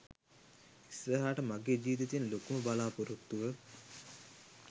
ඉස්සරහට මගේ ජීවිතේ තියෙන ලොකුම බලා‍පොරොත්තුව